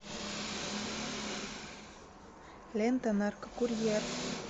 лента наркокурьер